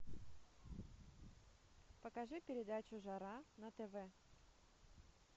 покажи передачу жара на тв